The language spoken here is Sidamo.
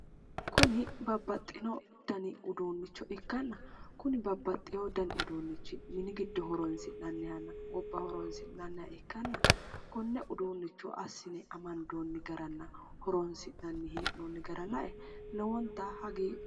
Kuni babbaxxino dani uduunnicho ikkanna, Kuni babbaxxino dani uduunnicho mini giddo horoonsi'nannihanna gobba horoonsi'nanniha ikkanna konne uduunnicho assine amandoonni garanna horoonsi'nanni hee'noonni gara lae lowonta hagiidhoomma.